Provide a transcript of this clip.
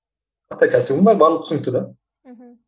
ата кәсібің бар барлығы түсінікті де мхм